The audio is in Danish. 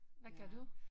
Hvad gør du?